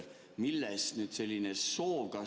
Millest nüüd selline soov?